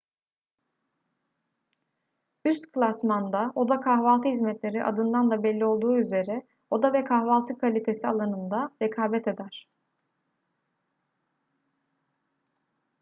üst klasmanda oda kahvaltı hizmetleri adından da belli olduğu üzere oda ve kahvaltı kalitesi alanında rekabet eder